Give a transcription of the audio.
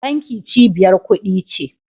Banki cibiyar kudi ce